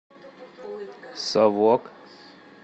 совок